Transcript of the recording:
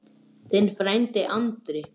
Þinn frændi Andri.